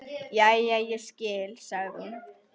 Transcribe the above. Jæja, ég skil, sagði hún.